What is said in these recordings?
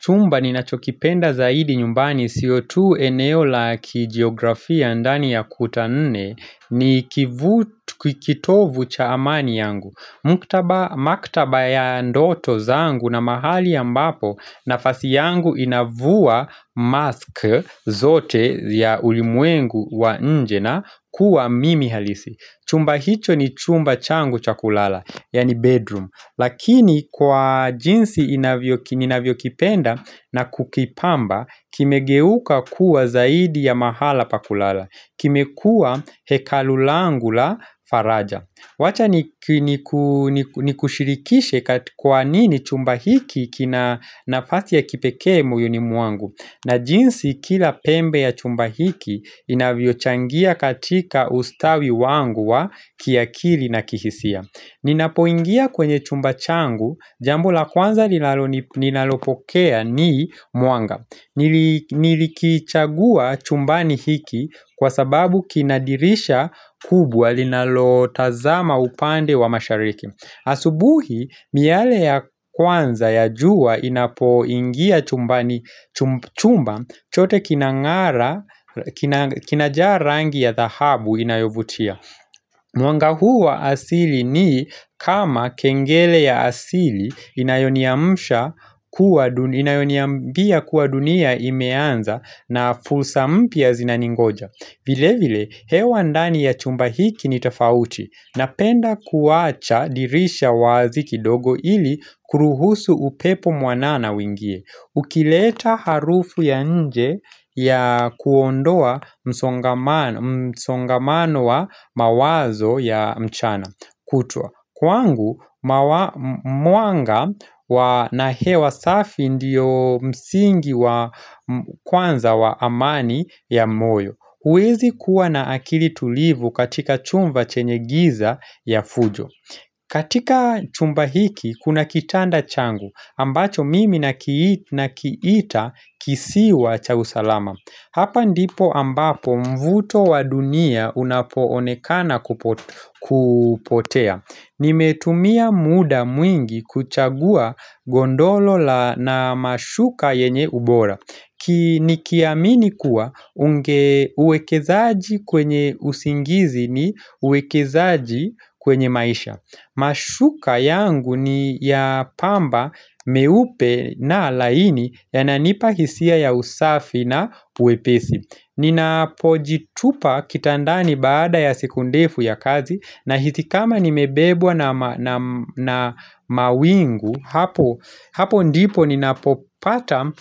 Chumba ni nachokipenda zaidi nyumbani sio tu eneo la kijiografia ndani ya kuta nne ni kivutu kikitovu cha amani yangu Maktaba ya ndoto zaangu na mahali ambapo nafasi yangu inavua mask zote ya ulimwengu wa nje na kuwa mimi halisi Chumba hicho ni chumba changu cha kulala, yani bedroom Lakini kwa jinsi inavyoki inavyo kipenda na kukipamba kimegeuka kuwa zaidi ya mahala pakulala Kimekua hekalulangu la faraja Wacha niki ni kunikushirikishe Kat kwa nini chumba hiki kina nafasi ya kipekee moyoni ni mwangu na jinsi kila pembe ya chumba hiki inavyo changia katika ustawi wangu wa kiakili na kihisia Ninapoingia kwenye chumba changu, jambo la kwanza linaloni ninalopokea ni mwanga nili Nilikichagua chumbani hiki kwa sababu kinadirisha kubwa linalo tazama upande wa mashariki Asubuhi, miale ya kwanza ya jua inapoingia chumbani chumb chumba chote kinang'ara kinajaa rangi ya dhahabu inayovutia Mwangahuwa asili ni kama kengele ya asili inayoniamsha kuwa duni inayoniambia kuwa dunia imeanza na fulsa mpya zinaningoja vile vile hewa ndani ya chumba hiki ni tofauti Napenda kuwacha dirisha wazi kidogo ili kuruhusu upepo mwanana uingie Ukileta harufu ya nje ya kuondoa msongamano msongamano wa mawazo ya mchana kutwa Kwangu mawa mwanga wa na hewa safi ndiyo msingi wa kwanza wa amani ya moyo huezi kuwa na akili tulivu katika chumba chenye giza ya fujo katika chumba hiki kuna kitanda changu ambacho mimi nakii na kiita kisiwa cha usalama Hapa ndipo ambapo mvuto wa dunia unapo onekana kupo kupotea nimetumia muda mwingi kuchagua gondolo la na mashuka yenye ubora Kini kiamini kuwa unge uwekezaaji kwenye usingizi ni uwekezaji kwenye maisha Mashuka yangu ni ya pamba meupe na laini ya nanipa hisia ya usafi na uepesi Ninapojitupa kitandani baada ya siku ndefu ya kazi na hitikama nimebebwa na ma na mna mawingu hapo Hapo ndipo ninapopata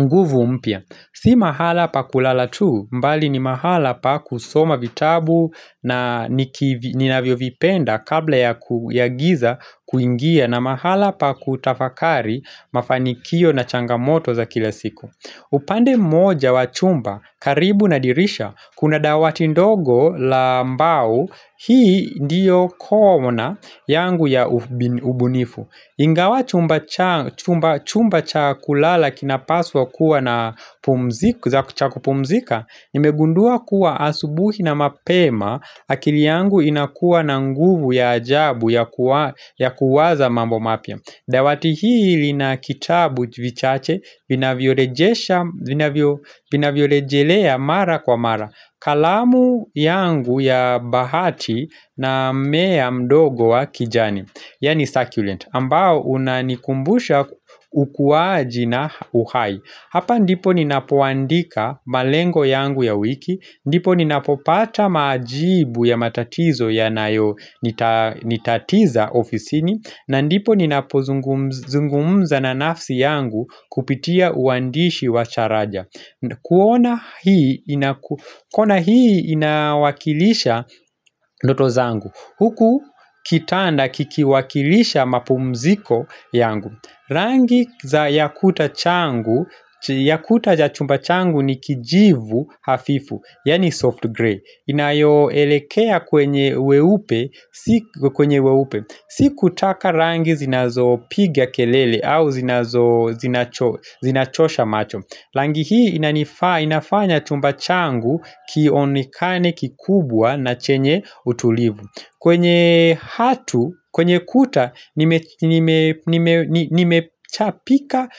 nguvu mpya Si mahala pa kulala tu mbali ni mahala pa kusoma vitabu na nikivi ninavyo vipenda kabla ya ku yagiza kuingia na mahala pa kutafakari mafanikio na changamoto za kila siku. Upande moja wa chumba, karibu nadirisha, kuna dawati ndogo lambau, hii ndiyo corner yangu ya ubi ubunifu. Ingawa chumba cha chumba chumba chakulala kinapaswa kuwa na pumzik za chakupumzika, nimegundua kuwa asubuhi na mapema, akili yangu inakuwa na nguvu ya ajabu ya kuwa ya kuwaza mambo mapya. Dawati hiili na kitabu vichache vinavyorejesha vina violejelea mara kwa mara kalamu yangu ya bahati na mmea mdogo wa kijani Yani succulent ambao unanikumbusha ukuaji na uhai Hapa ndipo ninapoandika malengo yangu ya wiki ndipo ninapopata majibu ya matatizo ya nayo nita nitatiza ofisini na ndipo ni napozungumz zungumza na nafsi yangu kupitia uandishi wacharaja kuona hii inaku kuona hii inawakilisha ndoto zangu Huku kitanda kikiwakilisha mapumziko yangu Rangi za yakuta changu, yakuta ja chumba changu ni kijivu hafifu Yani soft grey inayo elekea kwenye weupe Sik kwenye weupe sikutaka rangi zinazo piga kelele au zinazo zinacho zinachosha macho Langi hii inanifa inafanya chumba changu kionekane kikubwa na chenye utulivu kwenye hatu, kwenye kuta nime nime nime ni Nime chapika.